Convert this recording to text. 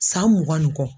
San mugan ni kɔ